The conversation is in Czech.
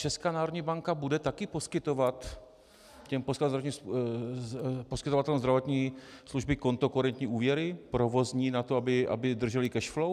Česká národní banka bude taky poskytovat těm poskytovatelům zdravotní služby kontokorentní úvěry provozní na to, aby držely cash flow?